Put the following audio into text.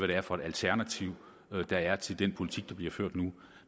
det er for et alternativ der er til den politik der bliver ført nu